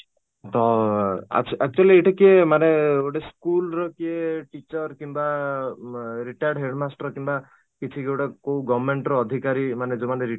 ତ ଅଂ actually ଏଇଟା କିଏ ମାନେ ଗୋଟେ school ର ଯିଏ teacher କିମ୍ବା ଅଂ ବା retard ହେବେ headmaster କିମ୍ବା କିଛି ଯୌଗୁଡା କୋଉ government ର ଅଧିକାରୀ ମାନେ ଯୋଉମାନେ retard